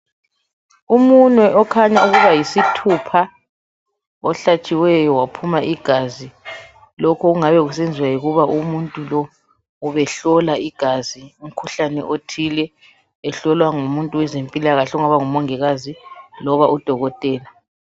Umunwe okhanya ukuba yisithupha ohlatshiweyo waphuma igazi lokhu okungabe kusenziwa yikuba umuntu lo ubehlola igazi umkhuhlane othile ehlolwa ngumuntu owezempilakahle ongaba ngumongikazi loba udokotela.